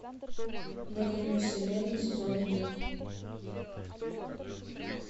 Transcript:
на краю вселенной сезон один